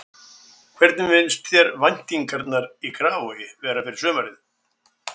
Hvernig finnst þér væntingarnar í Grafarvogi vera fyrir sumarið?